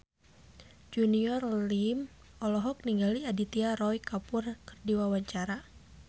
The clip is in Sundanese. Junior Liem olohok ningali Aditya Roy Kapoor keur diwawancara